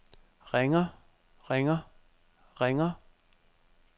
ringer ringer ringer